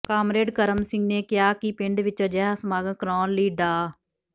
comrade Karam Singh ਨੇ ਕਿਹਾ ਕਿ ਪਿੰਡ ਵਿਚ ਅਜਿਹਾ ਸਮਾਗਮ ਕਰਾਉਣ ਲਈ ਡਾ